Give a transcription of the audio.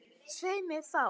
Svei mér þá.